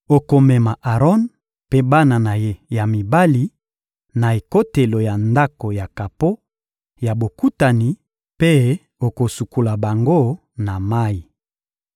Okomema Aron mpe bana na ye ya mibali na ekotelo ya Ndako ya kapo ya Bokutani mpe okosukola bango na mayi.